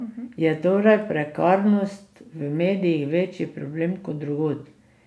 Je torej prekarnost v medijih večji problem kot drugod?